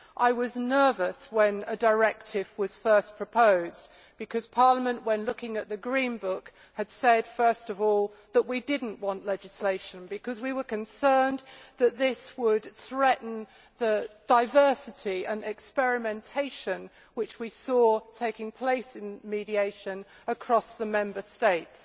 I was nervous when a directive was first proposed, because Parliament, when looking at the Green Paper, had said first of all that we did not want legislation because we were concerned that this would threaten the diversity and experimentation which we saw taking place in mediation across the Member States.